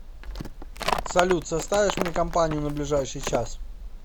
салют составишь мне компанию на ближайший час